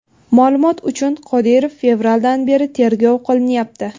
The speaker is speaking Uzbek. Ma’lumot uchun, Qodirov fevraldan beri tergov qilinyapti.